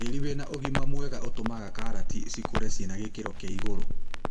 Tĩri wĩna ũgima mwega ũtũmaga karati cikũre cinagĩkĩro kĩa igũrũ.